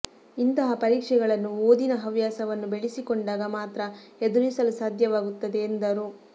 ಇಂತಹ ಪರೀಕ್ಷೆಗಳನ್ನು ಓದಿನ ಹವ್ಯಾಸವನ್ನು ಬೆಳೆಸಿಕೊಂಡಾಗ ಮಾತ್ರ ಎದುರಿಸಲು ಸಾಧ್ಯವಾಗುತ್ತದೆ ಎಂದರು